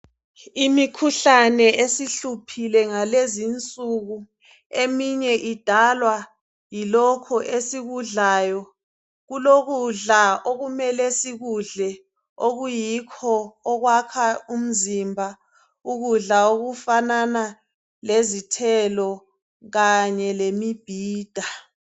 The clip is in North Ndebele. Imikhuhlane esihluphile ngalezinsuku eminye idalwa yilokho esikudlayo. Kulokudla okumele sikudle okuyikho okwakha umzimba. Ukudla okufanana lezithelo kanye lemimbhida.